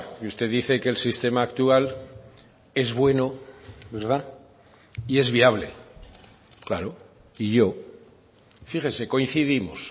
y usted dice que el sistema actual es bueno verdad y es viable claro y yo fíjese coincidimos